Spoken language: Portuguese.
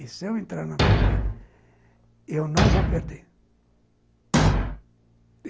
E se eu entrar na briga, eu não vou perder.